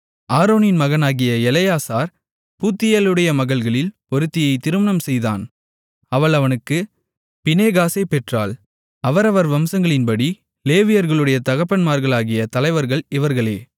ஆரோனின் மகனாகிய எலெயாசார் பூத்தியேலுடைய மகள்களில் ஒருத்தியைத் திருமணம் செய்தான் அவள் அவனுக்குப் பினெகாசைப் பெற்றாள் அவரவர் வம்சங்களின்படி லேவியர்களுடைய தகப்பன்மார்களாகிய தலைவர்கள் இவர்களே